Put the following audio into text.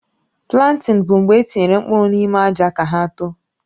Plantịn bụ mgbe etinyere mkpụrụ n'ime àjà ka hà tòò